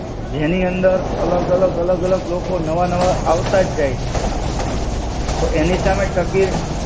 જેની અંદર અલગ-અલગ અલગ-અલગ લોકો નવા-નવા આવતા જ જાય છે. તો એની સામે ટકી